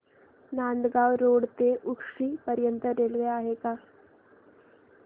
Nandgaon road ते उक्षी पर्यंत railway आहे का